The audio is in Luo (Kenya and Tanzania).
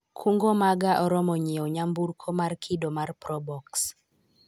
kungo maga oroma nyiewo nyamburko mar kido mar probox